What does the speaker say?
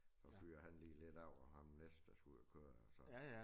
Og fyrer han lige lidt af og ham næste der skal ud og køre og så